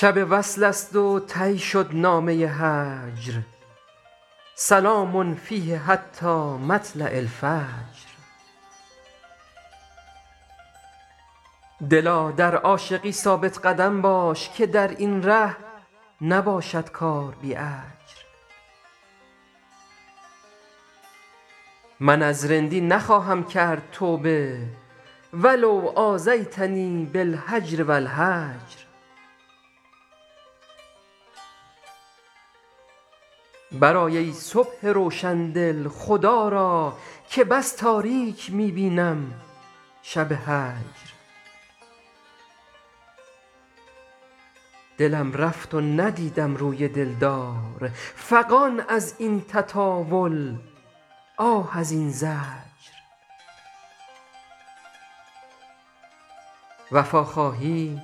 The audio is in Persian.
شب وصل است و طی شد نامه هجر سلام فیه حتی مطلع الفجر دلا در عاشقی ثابت قدم باش که در این ره نباشد کار بی اجر من از رندی نخواهم کرد توبه و لو آذیتنی بالهجر و الحجر برآی ای صبح روشن دل خدا را که بس تاریک می بینم شب هجر دلم رفت و ندیدم روی دل دار فغان از این تطاول آه از این زجر وفا خواهی